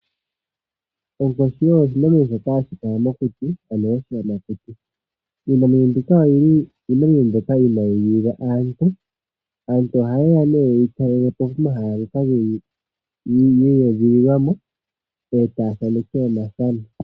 Onkoshi osho oshinamwenyo hashi kala mokuti ano oshiyamakuti iinamwenyo mbika oyili iinamwenyo mbyoka inayi gilila aantu. Aanti oha yeya nee yeyi talelepo pomahala yili yedhililwamo eta thaneke omafano.